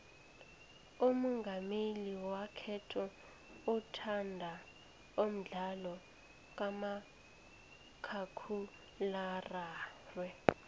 umongameli wekhethu uthanda umdlalo kamakhakhulararhwe